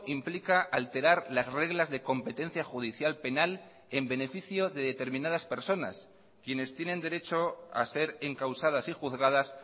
implica alterar las reglas de competencia judicial penal en beneficio de determinadas personas quienes tienen derecho a ser encausadas y juzgadas